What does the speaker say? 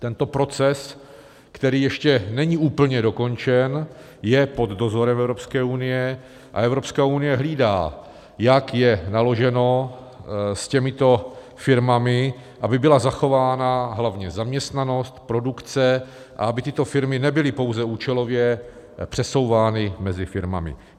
Tento proces, který ještě není úplně dokončen, je pod dozorem Evropské unie a Evropská unie hlídá, jak je naloženo s těmito firmami, aby byla zachována hlavně zaměstnanost, produkce a aby tyto firmy nebyly pouze účelově přesouvány mezi firmami.